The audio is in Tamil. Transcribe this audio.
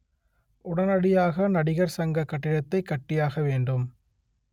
உடனடியாக நடிகர் சங்க கட்டிடத்தை கட்டியாக வேண்டும்